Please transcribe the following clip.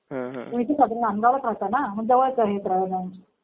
तुम्ही इथंच राहता नांदगावला राहता ना. मग जवळच आहे ब्रँच.